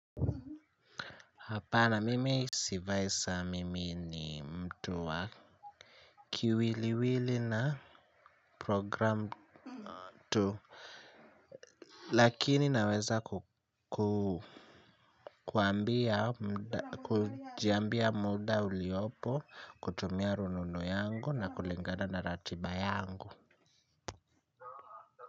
Hapana mimi sivai saa mimi ni mtu wa kiwiliwili na program tu lakini naweza kuambia muda uliopo kutumia rununu yangu na kulingana na ratiba yangu.